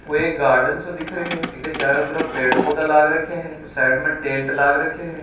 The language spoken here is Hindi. कोई एक गार्डन सो दिख रहा है चारो तरफ पेड़ पोधा दिख रहा है साइड में टेंट लाग रखो हैं।